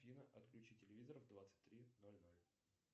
афина отключи телевизор в двадцать три ноль ноль